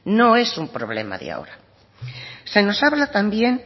no es un problema de ahora se nos habla también